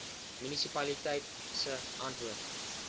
munisipaliteit se antwoord